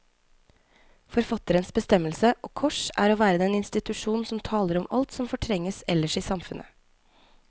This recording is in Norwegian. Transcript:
Forfatterens bestemmelse, og kors, er å være den institusjon som taler om alt som fortrenges ellers i samfunnet.